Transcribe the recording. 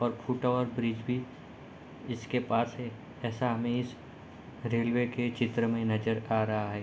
और फूटा हुआ ब्रिज भी इसके पास है ऐसा हमे इस रेलवे के चित्र मे नजर आ रहा है।